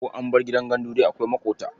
Ko an bar gidan gandu dai akwai maƙota.